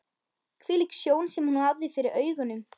Hvílík sjón sem hún hafði fyrir augunum!